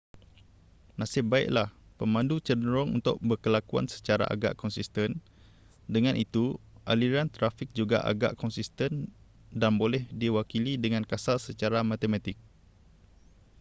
nasib baiklah pemandu cenderung untuk berkelakuan secara agak konsisten dengan itu aliran trafik juga agak konsisten dan boleh diwakili dengan kasar secara matematik